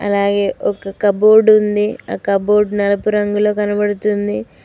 అలాగే ఒక కబోర్డ్ ఉంది కబోర్డ్ నలుపు రంగులో కనబడుతుంది.